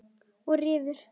Og riðuðu.